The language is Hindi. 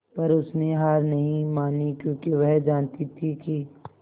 पर उसने हार नहीं मानी क्योंकि वह जानती थी कि